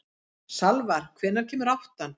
Salvar, hvenær kemur áttan?